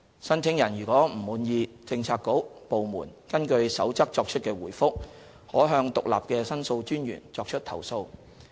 申請人如不滿意政策局/部門根據《守則》作出的回覆，可向獨立的申訴專員作出投訴。